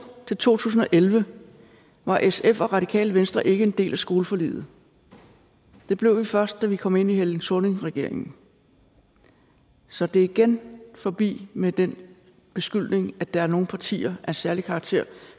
til to tusind og elleve var sf og radikale venstre ikke en del af skoleforliget det blev vi først da vi kom ind i helle thorning schmidts regering så det er igen forbi med den beskyldning at der er nogle partier af en særlig karakter